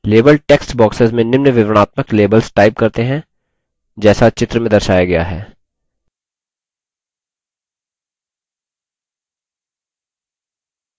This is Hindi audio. label text boxes में निम्न विवरणात्मक labels type करते हैं जैसा चित्र में दर्शाया गया है